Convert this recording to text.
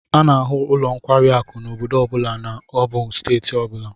A n'ahu nlo nkwari akụ n'obodo obula ma obu steeti obula